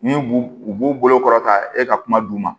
Ni b'u u b'u bolo kɔrɔta e ka kuma d'u ma